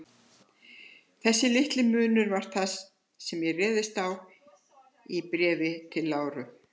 Þessi litli munur var það, sem ég réðst á í Bréfi til Láru.